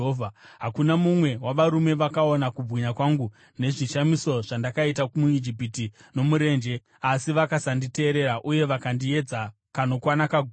hakuna mumwe wavarume vakaona kubwinya kwangu nezvishamiso zvandakaita muIjipiti nomurenje asi vakasanditeerera, uye vakandiedza kanokwana kagumi,